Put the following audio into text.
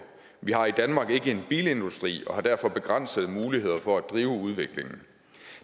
vi har i danmark ikke en bilindustri og har derfor begrænsede muligheder for at drive udviklingen